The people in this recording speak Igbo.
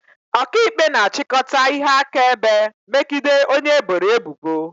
Ọkaikpe na-achịkọta ihe akaebe megide onye eboro ebubo